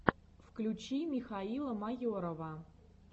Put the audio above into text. включи михаила майорова